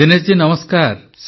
ଦୀନେଶ ଜୀ ନମସ୍କାର